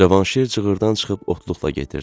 Cavanşir cığırdan çıxıb otluqla gedirdi.